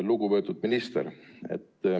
Lugupeetud minister!